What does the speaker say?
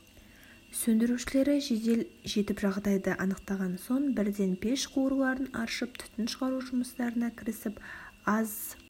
сөндірушілері жедел жетіп жағдайды анықтаған соң бірден пеш қуырларын аршып түтін шығару жұмыстарына кірісіп аз